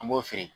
An b'o feere